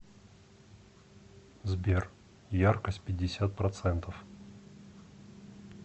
сбер яркость пятьдесят процентов